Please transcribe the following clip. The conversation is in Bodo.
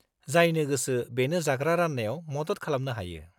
-जायनो गोसो बेनो जाग्रा रान्नायाव मदद खालामनो हायो।